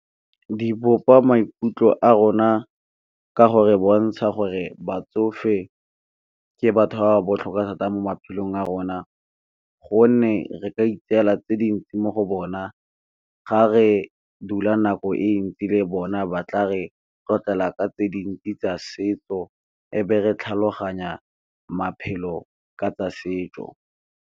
Di bopa maikutlo a rona ka gore bontsha gore batsofe ke batho ba ba botlhokwa thata mo maphelong a rona, gonne re ka itseela tse dintsi mo go bona ka ga re dula nako e ntsi le bona ba tla re tlotlela ka tse dintsi tsa setso, e be re tlhaloganya maphelo ka tsa setso.